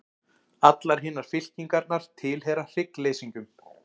Allar hinar fylkingarnar tilheyra hryggleysingjum.